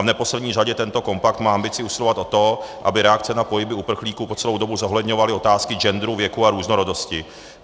A v neposlední řadě tento kompakt má ambici usilovat o to, aby reakce na pohyby uprchlíků po celou dobu zohledňovaly otázky genderu, věku a různorodosti.